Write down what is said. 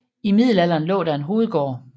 I Middelalderen lå der en hovedgård